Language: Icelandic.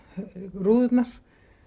rúðurnar